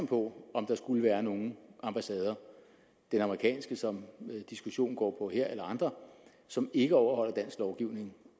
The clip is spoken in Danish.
på om der skulle være nogle ambassader den amerikanske som diskussionen går på her eller andre som ikke overholder dansk lovgivning